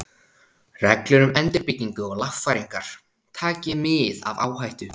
Reglur um endurbyggingu og lagfæringar, taki mið af áhættu.